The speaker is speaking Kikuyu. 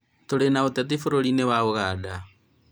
tũrĩ na ũteti bũrũriinĩ wa Uganda.